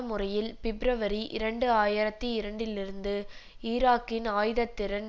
முறையில் பிப்ரவரி இரண்டு ஆயிரத்தி இரண்டுலிருந்து ஈராக்கின் ஆயுதத்திறன்